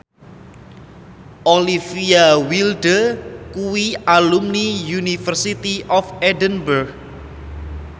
Olivia Wilde kuwi alumni University of Edinburgh